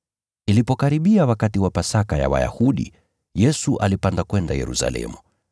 Ilipokaribia wakati wa Pasaka ya Wayahudi, Yesu alipanda kwenda Yerusalemu.